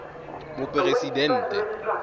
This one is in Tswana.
moporesidente